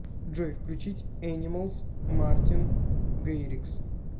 джой включить энималс мартин гэйрикс